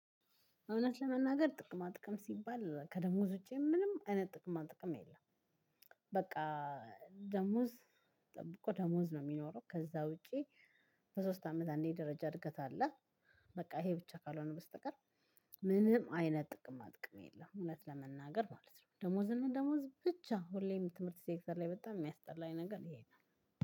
እውነት ለመናገር ጥቅማ ጥቅም ሲባል ከደሞዝ ውጪም ምንም እኔ ጥቅማ ጥቅም የለም። በቃ ደሞዝ ጠብቆ ደሞዝ ነው የሚኖረው ከዛ ውጪ። በሶስት አመት አንዴ ደረጃ እድገት አለ። በቃ ይሄ ብቻ ካልሆነ በስተቀር ምንም አይነት ጥቅማ ጥቅም የለም። እውነት ለመናገር ማለት ነው። ደሞዝ እና ደሞዝ ብቻ ሁሌም ትምህርት ሴክተር ላይ የሚያስጠላኝ ነገር ይሄ ነው